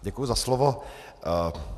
Děkuji za slovo.